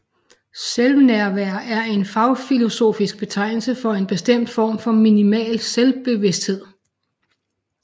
Selvnærvær er en fagfilosofisk betegnelse for en bestemt form for minimal selvbevidsthed